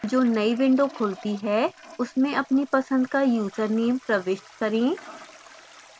जो नई window खुलती है उसमें अपनी पसंद का यूजरनेम प्रविष्ट करें